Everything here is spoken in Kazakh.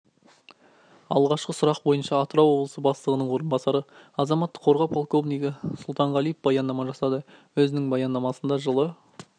алғашқы сұрақ бойынша атырау облысы бастығының орынбасары азамттық қорғау полковнигі сұлтанғалиев баяндама жасады өзінің баяндамасында жылы